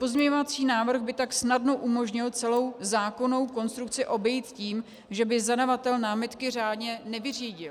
Pozměňovací návrh by tak snadno umožnil celou zákonnou konstrukci obejít tím, že by zadavatel námitky řádně nevyřídil.